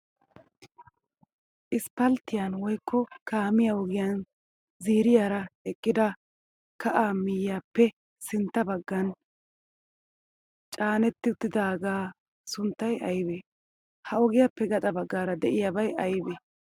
Isipalttiyan woyikko kaamiya ogiyan ziiriyaara eqqida kaa miyaappe sintta baggaagan canetti uttidaagaa sunttay ayibee? Ha ogiyaappe gaxa baggaara diyaabay ayibee?